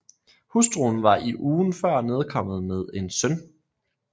Hustruen var i ugen før nedkommet med en søn